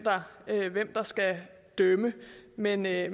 der skal dømme men jeg